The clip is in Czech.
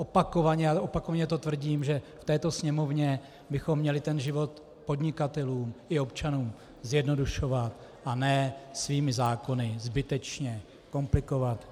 Opakovaně to tvrdím, že v této Sněmovně bychom měli ten život podnikatelům i občanům zjednodušovat, a ne svými zákony zbytečně komplikovat.